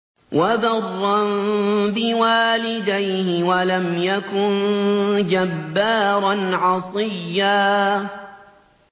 وَبَرًّا بِوَالِدَيْهِ وَلَمْ يَكُن جَبَّارًا عَصِيًّا